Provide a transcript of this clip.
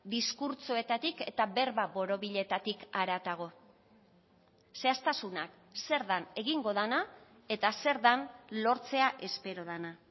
diskurtsoetatik eta berba borobiletatik haratago zehaztasunak zer den egingo dena eta zer den lortzea espero dena